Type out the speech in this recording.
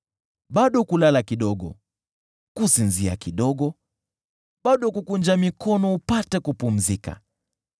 Bado kulala kidogo, kusinzia kidogo, bado kukunja mikono kidogo upate kupumzika: